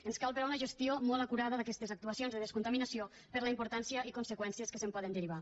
ens cal però una gestió molt acurada d’aquestes actuacions de descontaminació per la importància i conseqüències que se’n poden derivar